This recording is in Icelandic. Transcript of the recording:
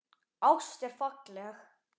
Ást er falleg.